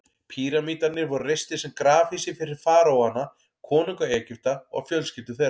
Píramídarnir voru reistir sem grafhýsi fyrir faraóana, konunga Egypta, og fjölskyldur þeirra.